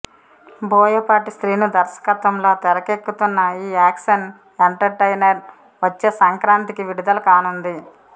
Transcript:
బోయపాటి శ్రీను దర్శకత్వంలో తెరకెక్కుతున్న ఈ యాక్షన్ ఎంటర్ టైనర్ వచ్చే సంక్రాంతికి విడుదల కానుంది